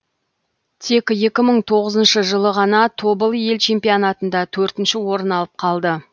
тек екі мың тоғызыншы жылы ғана тобыл ел чемпионатында төртінші орын алып қалды